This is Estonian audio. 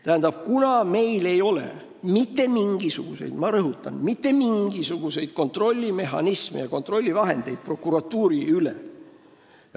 Tähendab, meil ei ole mitte mingisuguseid – ma rõhutan, mitte mingisuguseid – kontrollmehhanisme ega kontrollivahendeid prokuratuuri üle.